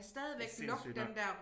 Det sindssygt nok